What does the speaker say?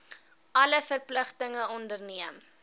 alle verpligtinge onderneem